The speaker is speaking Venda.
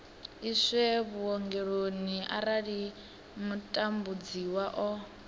iswe vhuongeloni arali mutambudziwa o